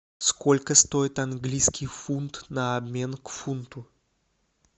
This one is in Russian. сколько стоит английский фунт на обмен к фунту